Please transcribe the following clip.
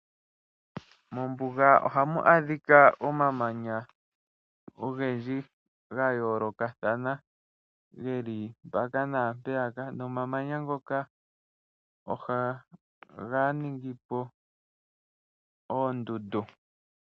Mombuga ohamu adhika omamanya ogendji ga yoolokathana, geli mpaka naampeya ka nomamanya ngoka ohaga ningi po oondundu.